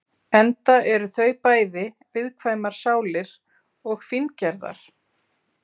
Enda eru þau bæði viðkvæmar sálir og fíngerðar.